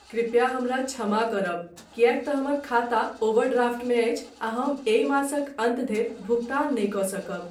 कृपया हमरा क्षमा करब किएकतँ हमर खाता ओवरड्राफ्टमे अछि आ हम एहि मासक अन्त धरि भुगतान नहि कऽ सकब।